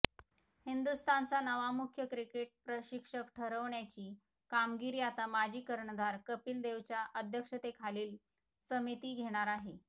हिंदुस्थानचा नवा मुख्य क्रिकेट प्रशिक्षक ठरवण्याची कामगिरी आता माजी कर्णधार कपिलदेवच्या अध्यक्षतेखालील समिती घेणार आहे